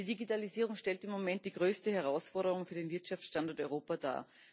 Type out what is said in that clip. Die Digitalisierung stellt im Moment die größte Herausforderung für den Wirtschaftsstandort Europa dar.